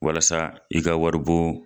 Walasa i ka wari bon